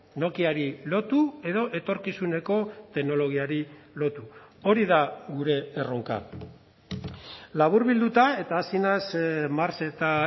nokiari lotu edo etorkizuneko teknologiari lotu hori da gure erronka laburbilduta eta hasi naiz marx eta